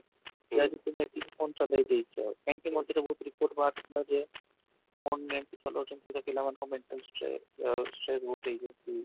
କି ଆଜି ତୋମେ ଏତିକି phone ଚଲେଇ ଦେଇଛ କାହିଁକି ମଝିରେ ବହୁତ ବାହାରୁ ଥିଲା ଯେ phone net ଚଲଉଛନ୍ତି ତ ପିଲା ମାନଙ୍କର mental stress stress ବହୁତ ହେଇଯାଉଛି